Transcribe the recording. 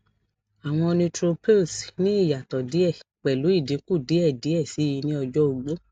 awọn neutrophils ni iyatọ diẹ pẹlu idinku diẹ diẹ sii ni ọjọ ogbo